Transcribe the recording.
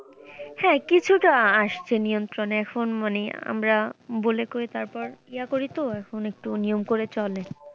হ্যাঁ কিছুটা আসছে নিয়ন্ত্রনে এখন মানে আমরা বলে কয়ে তারপর ইহা করি তো এখন একটু নিয়ম করে চলে।